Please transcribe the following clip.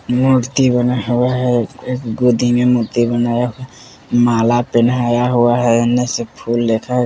मूर्ति बना हुआ है एक गोदी में मूर्ति बनाया माला पेहनाया हुआ है अंदर से फूल --